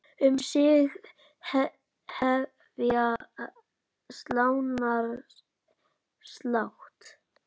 Um sig hefja slánar slátt.